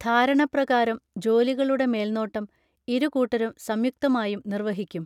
ധാരണ പ്രകാരം ജോലികളുടെ മേൽനോട്ടം ഇരു കൂട്ടരും സംയുക്തമായും നിർവഹിക്കും